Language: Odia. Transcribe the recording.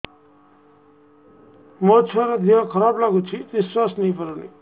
ମୋ ଛୁଆର ଦିହ ଖରାପ ଲାଗୁଚି ନିଃଶ୍ବାସ ନେଇ ପାରୁନି